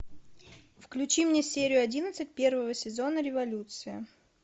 включи мне серию одиннадцать первого сезона революция